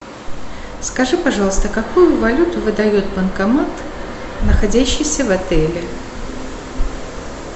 скажи пожалуйста какую валюту выдает банкомат находящийся в отеле